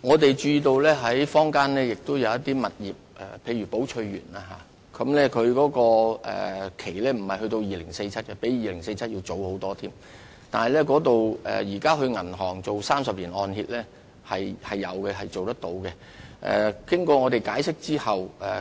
我們注意到坊間有些物業，例如寶翠園，其土地契約並不是在2047年期滿，而是比2047年還要早很多年，現時在銀行是能夠做到30年按揭，而經我們解釋後，